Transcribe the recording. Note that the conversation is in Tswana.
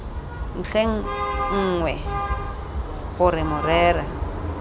ntlheng e nngwe gore morero